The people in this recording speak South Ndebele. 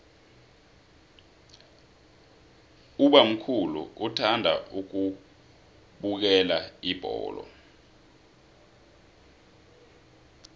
ubamkhulu uthanda ukubukela ibholo